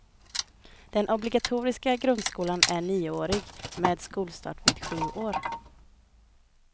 Den obligatoriska grundskolan är nioårig, med skolstart vid sju år.